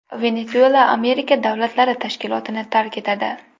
Venesuela Amerika davlatlari tashkilotini tark etadi.